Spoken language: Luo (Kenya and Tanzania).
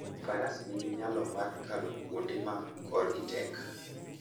Faras nigi nyalo mar kalo kuonde ma korgi tek.